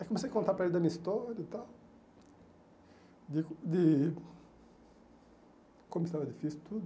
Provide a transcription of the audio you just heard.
Aí comecei a contar para ele da minha história e tal, de de como estava difícil, tudo.